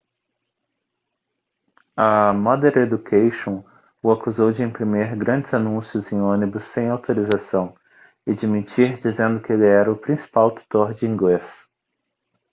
a modern education o acusou de imprimir grandes anúncios em ônibus sem autorização e de mentir dizendo que ele era o principal tutor de inglês